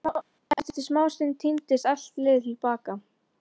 Eftir smástund tíndist allt liðið til baka.